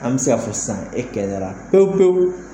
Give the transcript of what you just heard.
An bɛ se ka fɔ san e kɛnɛyara pewu pewu.